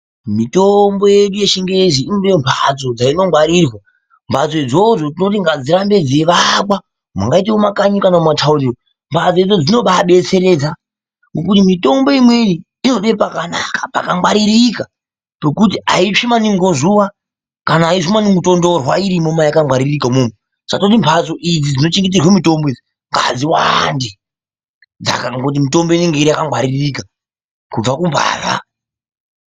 Mitombo yedu yechingezi inode mhatso dzinogwarirwa ,mhatso idzodzo tinoti ngadzirambe dzeakwa mungaite mumakanyi kana mumataundi umu mhatso dzo dzinoba adetseredza ngokuti mitombo imweni inode pakanaka pakangwaririka pekuti aitsvi manaingi ngezuwa kana aizwi maningi kutonhorerwa irimwo mayakangwariririka umwomwo, saka tinoti mhatso idzi dzinogwarire mitombo idzi ngadziwande ,ngekuti mitombo yedu inenge yakagwaririka kubva kumbavha.